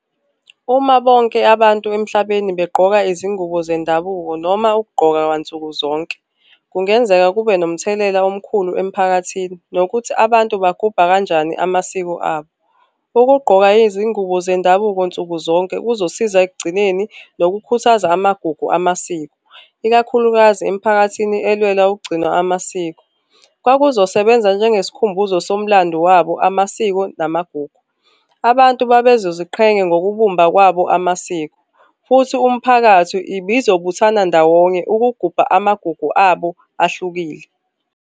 Uma bonke abantu emhlabeni begqoka izingubo zendabuko noma ukugqoka kwansuku zonke, kungenzeka kube nomthelela omkhulu emphakathini nokuthi abantu baguba kanjani amasiko abo. Ukugqoka izingubo zendabuko nsuku zonke kuzosiza ekugcineni nokukhuthaza amagugu amasiko, ikakhulukazi emiphakathini elwela ukugcinwa amasiko. Kwakuzosebenza njengesikhumbuzo somlando wabo, amasiko namagugu. Abantu babezoziqhenya ngokubumba kwabo amasiko. Futhi umphakathi ibizobuthana ndawonye ukugubha amagugu abo ahlukile.